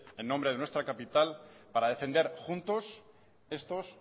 en nombre de nuestra capital para defender juntos estos